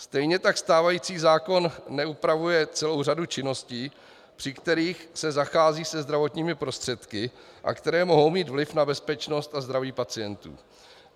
Stejně tak stávající zákon neupravuje celou řadu činností, při kterých se zachází se zdravotními prostředky a které mohou mít vliv na bezpečnost a zdraví pacientů.